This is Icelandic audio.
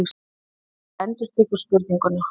Þú endurtekur spurninguna.